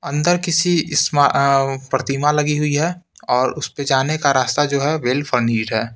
अंदर किसी स्मआउ प्रतिमा लगी हुई है और उस पे जाने का रास्ता जो है वेल फर्नींड है।